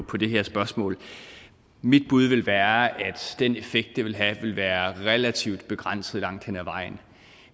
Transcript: på det her spørgsmål mit bud vil være at den effekt det vil have vil være relativt begrænset langt hen ad vejen